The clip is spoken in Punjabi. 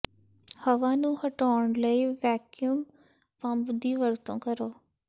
ਹਵਾ ਨੂੰ ਹਟਾਉਣ ਲਈ ਵੈਕਯਮ ਪੰਪ ਦੀ ਵਰਤੋਂ ਕਰੋ